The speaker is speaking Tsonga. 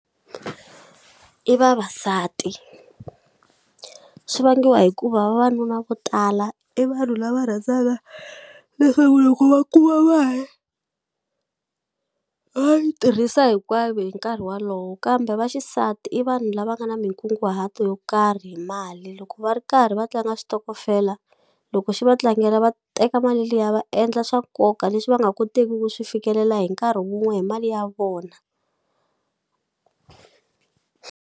I vavasati swi vangiwa hikuva vavanuna vo tala i vanhu lava rhandzana leswaku loko va kuma mali va yi tirhisa hinkwayo hi nkarhi walowo kambe va xisati i vanhu lava nga na mikunguhato yo karhi hi mali loko va ri karhi va tlanga switokofela loko xi va tlangela va teka mali liya va endla swa nkoka leswi va nga koteki ku swi fikelela hi nkarhi wun'we hi mali ya vona.